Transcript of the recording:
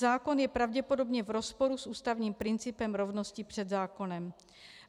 Zákon je pravděpodobně v rozporu s ústavním principem rovnosti před zákonem.